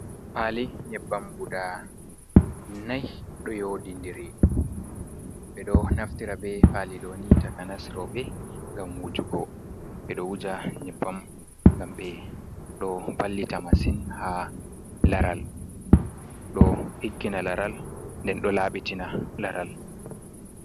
Pali nyebbam guda nai ɗo yodindiri ɓeɗo naftira be pali ɗo ni takanas rooɓe ngam wujugo. Ɓeɗo wuja nyebbam ngam ɓe ɗo wallita masin ha laral ɗo ɗiggina laral nden do laɓɓitina laral.